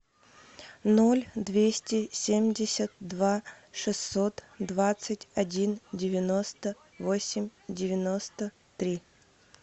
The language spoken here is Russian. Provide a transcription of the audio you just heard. ноль двести семьдесят два шестьсот двадцать один девяносто восемь девяносто три